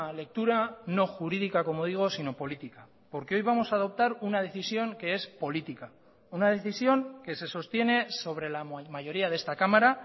lectura no jurídica como digo sino política porque hoy vamos a adoptar una decisión que es política una decisión que se sostiene sobre la mayoría de esta cámara